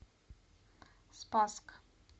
спасск